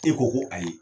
E ko ko ayi